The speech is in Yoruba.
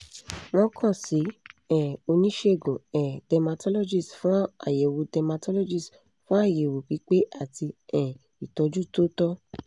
wọ́n kan si um onisegun um cs] dermatologist fun ayẹwo dermatologist fun ayẹwo pipe ati um itọju to tọ